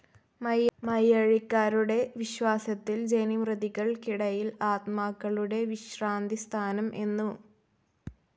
മയ്യഴിക്കാരുടെ വിശ്വാസത്തിൽ ജനിമൃതികൾക്കിടയിൽ ആത്മാക്കളുടെ വിശ്രാന്തിസ്ഥാനം എന്നു.